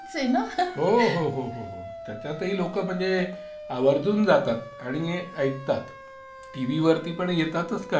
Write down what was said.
हो, हो, हो. त्याच्यातही लोकं म्हणजे आवर्जूनजातात आणि ऐकतात. टीव्ही वरती पण येतातच कार्यक्रम.